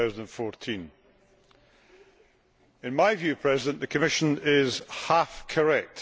2014. In my view, Mr President, the Commission is half correct.